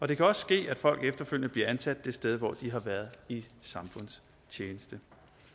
det kan også ske at folk efterfølgende bliver ansat det sted hvor de har været i samfundstjeneste